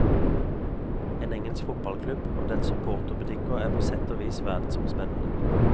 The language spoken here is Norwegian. En engelsk fotballklubb, og dens supporterbutikker, er på sett og vis verdensomspennende.